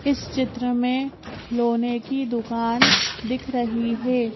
इस चित्र में खिलौने की दुकान दिख रही है।